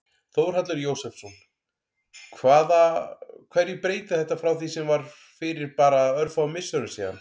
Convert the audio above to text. Þórhallur Jósefsson: Hvaða, hverju breytir þetta frá því sem var fyrir bara örfáum misserum síðan?